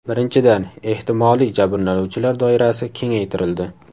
Birinchidan, ehtimoliy jabrlanuvchilar doirasi kengaytirildi.